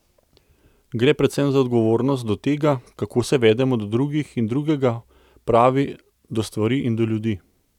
Gre predvsem za odgovornost do tega, kako se vedemo do drugih in drugega, pravi, do stvari in do ljudi.